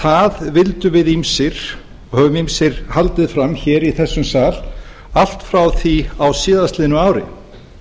það vildum við ýmsir og höfum ýmsir haldið fram hér í þessum sal allt frá því á síðastliðnu ári